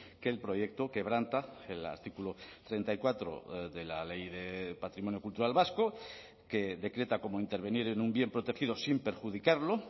que el proyecto quebranta el artículo treinta y cuatro de la ley de patrimonio cultural vasco que decreta como intervenir en un bien protegido sin perjudicarlo